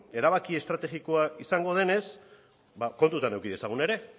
erabaki estrategikoa izango denez ba kontutan izan dezagun ere